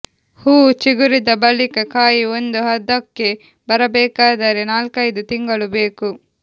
ಹೂ ಚಿಗುರಿದ ಬಳಿಕ ಕಾಯಿ ಒಂದು ಹದಕ್ಕೆ ಬರಬೇಕಾದರೆ ನಾಲ್ಕೈದು ತಿಂಗಳು ಬೇಕು